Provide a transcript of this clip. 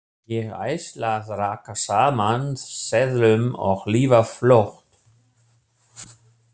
Ég ætla að raka saman seðlum og lifa flott.